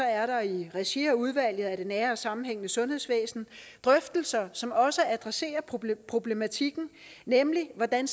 er der i regi af udvalget for det nære og sammenhængende sundhedsvæsen drøftelser som også adresserer problematikken nemlig hvordan